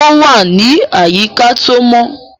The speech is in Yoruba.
Ó wà ní àyíká tó mọ.